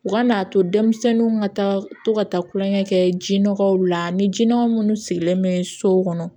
U ka n'a to denmisɛnninw ka taa to ka taa kulonkɛ kɛ ji nɔgɔw la ni jinini minnu sigilen bɛ sow kɔnɔ